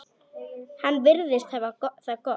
Hann virðist hafa það gott.